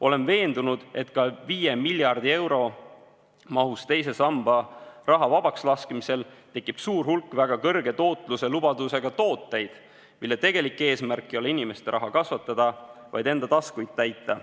Olen veendunud, et ka 5 miljardi euro eest teise samba raha vabakslaskmisel tekib suur hulk väga kõrge tootluse lubadusega tooteid, mille tegelik eesmärk ei ole inimeste raha kasvatada, vaid enda taskuid täita.